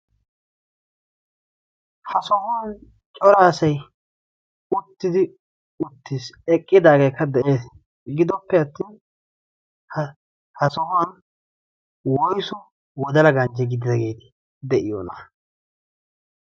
ha sohuwan cora asai uttidi uttiis. eqqidaageekka de7ees gidoppe attin ha sohuwan woisu wodala gancci gididaagee de7iyoona